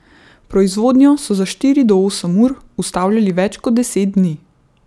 Proizvodnjo so za štiri do osem ur ustavljali več kot deset dni.